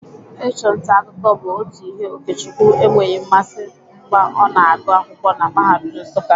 Ịchụ nta akụkọ bụ otu ihe Okechukwu enweghị mmasị mgba ọna agụ akwụkwọ na mahadum Nsụka.